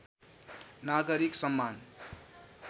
नागरिक सम्मान